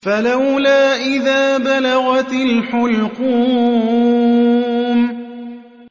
فَلَوْلَا إِذَا بَلَغَتِ الْحُلْقُومَ